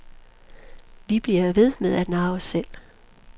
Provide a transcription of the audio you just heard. Vi bliver ved med at narre os selv.